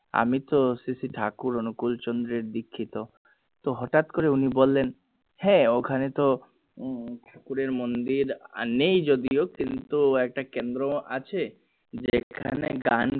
আমি তো সে সেই ঠাকুর অনুকূল চন্দ্রের দীক্ষিত তো হটাৎ করে উনি বললেন হ্যাঁ ওখানে তো উম ঠাকুরের মন্দির নেই যদিও কিন্তু একটা কেন্দ্র আছে